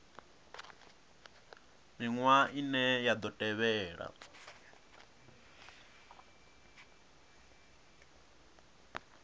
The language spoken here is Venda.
miṅwaha ine ya ḓo tevhela